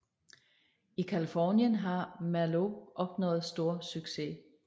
I Californien har Merlot opnået stor succes